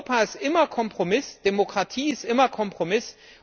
Europa ist immer Kompromiss, Demokratie ist immer Kompromiss.